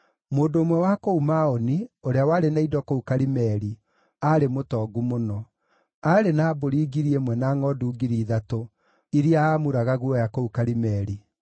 Mũndũ ũmwe wa kũu Maoni, ũrĩa warĩ na indo kũu Karimeli, aarĩ mũtongu mũno. Aarĩ na mbũri ngiri ĩmwe na ngʼondu ngiri ithatũ, iria aamuraga guoya kũu Karimeli.